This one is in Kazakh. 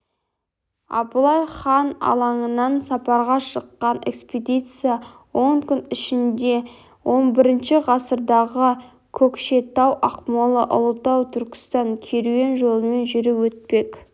абылай хан алаңынан сапарға шыққан экспедиция он күн ішінде хі ғасырдағы көкшетау-ақмола-ұлытау-түркістан керуен жолымен жүріп өтпек